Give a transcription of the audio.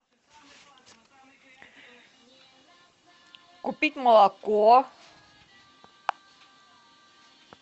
купить молоко